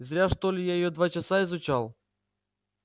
зря что ли я её два часа изучал